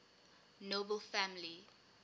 nobel family